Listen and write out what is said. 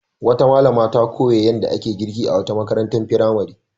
Wata malama ta koya yadda ake girki a wata marantar firamare.